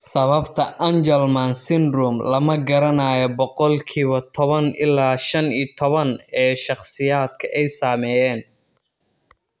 Sababta Angelman syndrome lama garanayo boqolkiiba 10 ilaa 15 ee shakhsiyaadka ay saameeyeen.